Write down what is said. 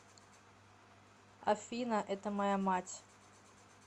афина это моя мать